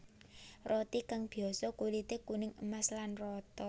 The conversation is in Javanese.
Roti kang biyasa kulité kuning emas lan rata